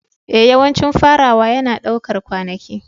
Ee, yawancin farawa yana ɗaukar kwanaki.